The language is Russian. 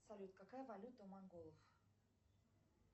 салют какая валюта у монголов